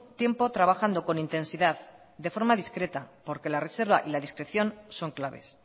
tiempo trabajando con intensidad de forma discreta porque la reserva y la discreción son claves